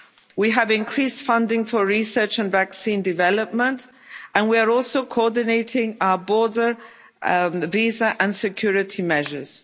Greece. We have increased funding for research and vaccine development, and we are also coordinating our border, visa and security measures.